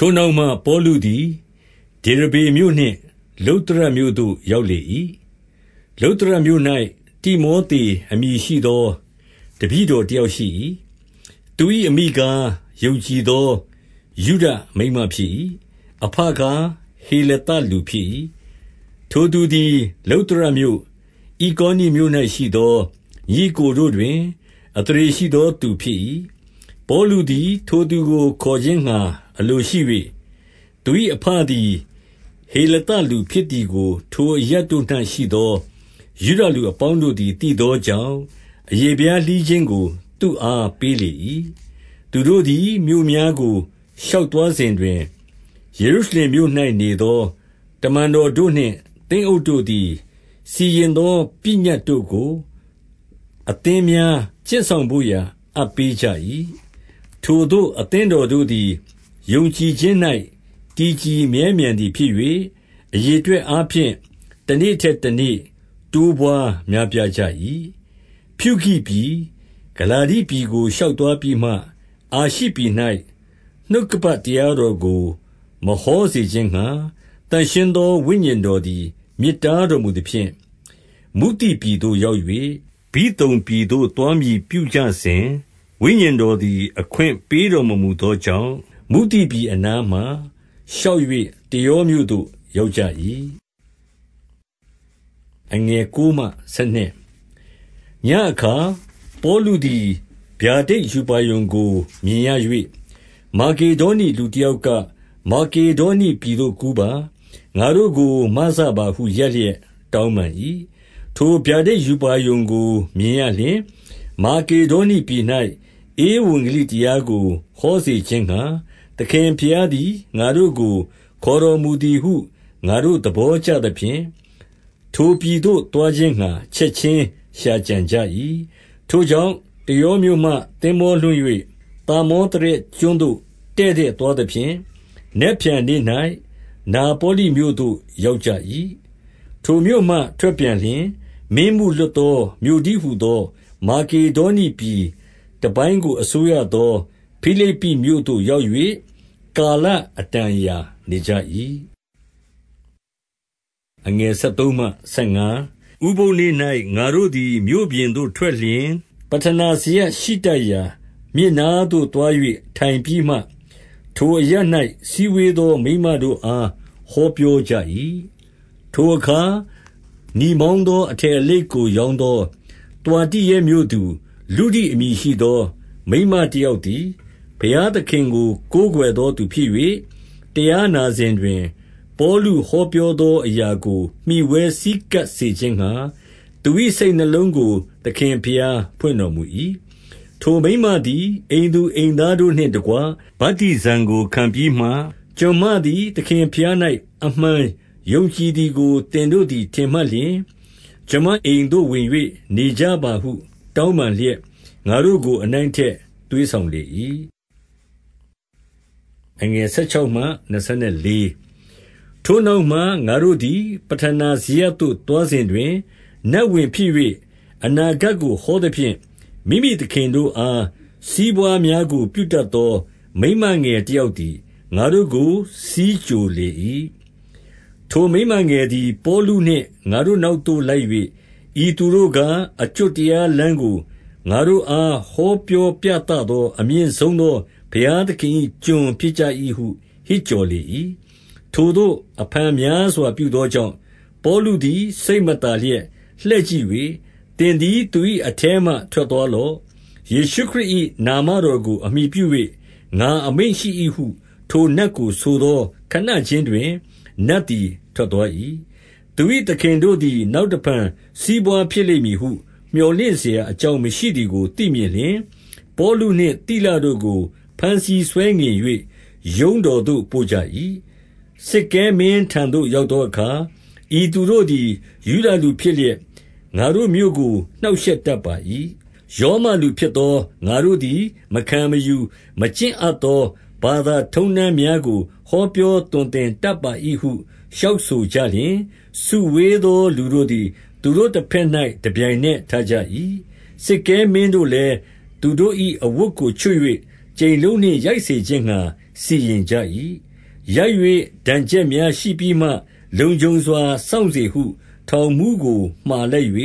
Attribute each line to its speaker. Speaker 1: ထိုနောက်မှ ပေါလုသည် ဒေရဗေမြို့နှင့် လုတ္တရမြို့သို့ရောက် လေ၏။ လုတ္တရမြို့၌ တိမောသေ အမည်ရှိသော တပည့်တော်တယောက် ရှိ၏။ သူ၏ အမိကား၊ ယုံကြည်သောယုဒမိန်းမဖြစ်၏။ အဘကား၊ ဟေလသလူဖြစ်၏။ 2 ထိုသူသည်လုတ္တရမြို့၊ ဣကောနိမြို့၌ရှိသော ညီအစ်ကိုတို့ တွင်အသရေရှိသောသူဖြစ်၏။ 3 ပေါလုသည် ထိုသူကိုခေါ်ခြင်းငှါအလိုရှိ၍၊ သူ၏အဘသည် ဟေလသလူဖြစ်သည်ကိုထိုအရပ်တို့၌ ရှိသောယုဒလူအပေါင်းတို့သည် သိသောကြောင့်၊ အရေဖျားလှီးခြင်းကို သူ့အားပေးလေ၏။ 4 သူတို့သည် မြို့များကို ရှောက်သွားစဉ်တွင်၊ ယေရုရှလင်မြို့၌ နေသောတမန်တော်တို့နှင့် သင်းအုပ် တို့သည် စီရင်သောပညတ်တို့ကို အသင်းများ ကျင့်စောင် ဘို့ရာ အပ်ပေးကြ၏။ 5 ထိုသို့အသင်းတော်တို့သည် ယုံကြည်ခြင်း၌ တည်ကြည် မြဲမြံသည်ဖြစ်၍၊ အရေအတွက် အားဖြင့် တနေ့ထက်တနေ့တိုးပွားများပြား ကြ၏။ 6 ဖြူဂိပြည်၊ ဂလာတိပြည်ကို ရှောက်သွားပြီးမှ အာရှိပြည်၌ နှုတ်ကပတ်တရားတော်ကို မဟောစေခြင်းငှါ သန့်ရှင်းသော ဝိညာဉ် တော်သည်မြစ်တားတော်မူသဖြင့်၊ 7 မုသိပြည်သို့ရောက်၍၊ ဗိသုန်ပြည်သို့ သွားမည်ပြုကြစဉ်၊ ဝိညာဉ်တော်သည် အခွင့်ပေး တော်မူသောကြောင့်၊ 8 မုသိပြည်အနားမှာ ရှောက်၍ တရောမြို့သို့ ရောက်ကြ၏။ 9 ညဉ့်အခါပေါလုသည် ဗျာဒိတ်ရူပါရုံကိုမြင်ရ၍၊ မာကေဒေါနိ လူတယောက်က၊ မာကေဒေါနိပြည်သို့ ကူးပါ။ ငါတို့ကိုမစပါဟုရပ်လျက် တောင်းပန်၏။ 10 ထိုဗျာဒိတ်ရူပါရုံကို မြင်ရလျှင်၊ မာကေဒေါနိ ပြည်၌ ဧဝံဂေလိတရားကို ဟောစေခြင်းငှါ သခင်ဘုရားသည် ငါတို့ကိုခေါ တော်မူသည်ဟု ငါတို့သဘောကျသဖြင့်၊ ထိုပြည်သို့သွားခြင်းငှာ ချက်ခြင်း ရှာကြံကြ၏။ 11 ထိုကြောင့်၊ တရောမြို့မှ သင်္ဘောလွှင့်၍ သာမောသရက် ကျွန်းသို့တည့်တည့်သွားသဖြင့်၊ နက်ဖြန် နေ့၌ နာပေါလိမြို့သို့ ရောက်ကြ၏။ 12 ထိုမြို့မှထွက်ပြန်လျှင် မင်းမှုလွတ်သော မြို့ တည်း ဟူသော မာကေဒေါနိပြည်တပိုင်းကို အစိုးရသော ဖိလိပ္ပိမြို့သို့ရောက်၍ ကာလ အတန်အရာနေကြ၏။ 13 ဥပုသ်နေ့၌ ငါတို့သည် မြို့ပြင်သို့ထွက်လျှင်၊ ပဌနာစရပ် ရှိတတ်ရာမြစ်နားသို့သွား၍ ထိုင်ပြီးမှ၊ ထိုအရပ်၌စည်းဝေးသော မိန်းမတို့အားဟောပြောကြ၏။ 14 ထိုအခါ နီမောင်သောအထည်အလိပ်ကို ရောင်းသော သွာတိုရဲမြို့သူ လုဒိအမည်ရှိသော မိန်းမတယောက်သည် ဘုရားသခင်ကို ကိုးကွယ်သောသူဖြစ်၍၊ တရားနာစဉ်တွင် ပေါလုဟောပြောသော အရာကို မှီဝဲဆည်းကပ်စေခြင်းငှါ သူ၏စိတ်နှလုံးကို သခင်ဘုရား ဖွင့်တော်မူ၏။ 15 ထိုမိန်းမသည် အိမ်သူအိမ်သားတို့နှင့်တကွ ဗတ္တိဇံကို ခံပြီးမှ၊ ကျွန်မသည် သခင်ဘုရား၌ အမှန် ယုံကြည်သည်ကို သင်တို့သည် ထင်မှတ်လျှင်၊ ကျွန်မအိမ်သို့ ဝင်၍ နေကြပါဟုတောင်းပန်လျက် ငါတို့ကို အနိုင် သွေးဆောင်လေ၏။ 16 ထိုနောက်မှ ငါတို့သည် ပဌာနာစရပ်သို့ သွား စဉ်တွင် နတ်ဝင်ဖြစ်၍ အနာဂတ်ကိုဟောသဖြင့်၊ မိမိ သခင်တို့အား စီးပွားများကို ပြုတတ်သော မိန်းမငယ် တယောက်သည် ငါတို့ကိုဆီးကြိုလေ၏။ 17 ထိုမိန်းမငယ်သည် ပေါလုနှင့် ငါတို့နောက်သို့ လိုက်၍၊ ဤသူတို့ကား အကျွတ်တရားလမ်းကို ငါတို့အား ဟောပြောပြသသော အမြင့်ဆုံးသော ဘုရားသခင်၏ ကျွန်ဖြစ်ကြ၏ဟု ဟစ်ကြော်လေ၏။ 18 ထိုသို့ အဖန်များစွာပြုသောကြောင့် ပေါလုသည် စိတ်မသာ လျက်လှည့်ကြည့်၍၊ သင်သည်သူ၏ အထဲမှ ထွက်သွားလော့။ ယေရှုခရစ်၏နာမတော်ကို အမှီပြု၍ ငါအမိန့်ရှိ၏ဟု ထိုနတ်ကိုဆိုသောခဏခြင်းတွင် နတ်သည်ထွက်သွား၏။ 19 သူ၏သခင်တို့သည် နောက်တဖန် စီးပွားဖြစ်လိမ့်မည်ဟု မြော်လင့်စရာအကြောင်းမရှိသည်ကို သိမြင်လျှင်၊ ပေါလုနှင့် သိလတို့ကို ဘမ်းဆီးဆွဲငင်၍ ရုံးတော်သို့ပို့ကြ၏။ 20 စစ်ကဲမင်းထံသို့ရောက်သောအခါ ဤသူတို့သည် ယုဒလူဖြစ်လျက် ငါတို့မြို့ကို နှောင့်ရှက်တတ်ပါ၏။ 21 ရောမလူဖြစ်သောငါတို့သည် မခံမယူ မကျင့်အပ်သော ဘာသာထုံးတမ်းများကို ဟောပြောသွန်သင် တတ်ပါ၏ ဟုလျှောက်ဆိုကြလျှင်၊ 22 စုဝေးသောလူတို့သည် သူတို့တဘက်၌ တပြိုင်နက်ထကြ၏။ စစ်ကဲမင်းတို့လည်း သူတို့၏ အဝတ်ကိုချွတ်၍ကြိမ်လုံးနှင့်ရိုက်စေခြင်းငှါ စီရင်ကြ၏။ 23 ရိုက်၍ဒဏ်ချက်များရှိပြီးမှ၊ လုံခြုံစွာ စောင့်စေ ဟု ထောင်မှူးကို မှာလိုက်၍